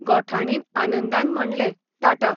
गोठाणीन आनंदान म्हणलें, टाटा..!